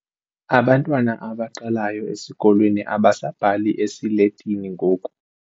Abantwana abaqalayo esikolweni abasabhali esiletini ngoku.